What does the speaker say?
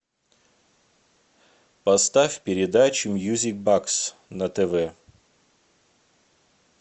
поставь передачу мьюзик бокс на тв